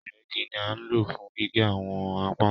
Ìrẹ́gi ni a nlo fún gígé àwọn pákó